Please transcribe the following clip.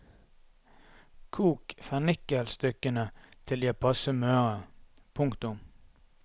Kok fennikelstykkene til de er passe møre. punktum